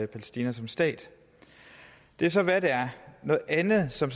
palæstina som stat det er så hvad det er noget andet som